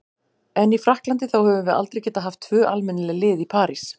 En í Frakklandi, þá höfum við aldrei getað haft tvö almennileg lið í París.